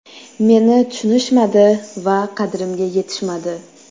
Meni tushunishmadi va qadrimga yetishmadi.